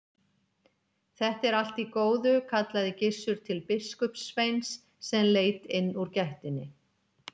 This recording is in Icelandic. Þetta er allt í góðu, kallaði Gizur til biskupssveins sem leit inn úr gættinni.